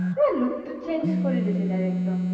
কিবা লুকতো কিবা change কৰি দিচি এক্দম